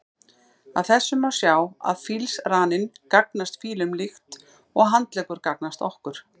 Af þessu má sjá að fílsraninn gagnast fílum líkt og handleggur gagnast okkur.